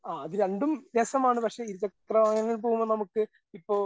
ആ അത് രസമാണ്. പക്ഷേ, ഇരുചക്രവാഹനങ്ങളിൽ പോവുമ്പോ നമുക്ക് ഇപ്പോ